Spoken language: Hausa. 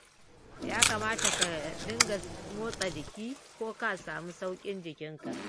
Ya kamata ka dinga motsa jiki ko ka samu sauƙin jikinka